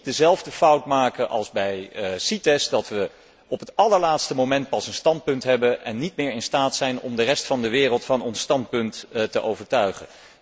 Zo maken we niet dezelfde fout maken als bij CITES, dat we pas op het allerlaatste moment een standpunt hebben en niet meer in staat zijn om de rest van de wereld van ons standpunt te overtuigen.